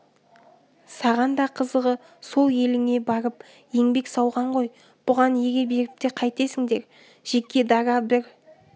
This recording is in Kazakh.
саған да қызығы сол еліңе барып еңбек сауған ғой бұған ере беріп те қайтесіңдер жеке-дара бір